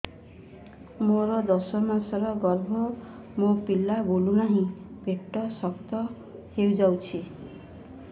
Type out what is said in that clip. ମୋର ଦଶ ମାସର ଗର୍ଭ ମୋ ପିଲା ବୁଲୁ ନାହିଁ ପେଟ ଶକ୍ତ ହେଇଯାଉଛି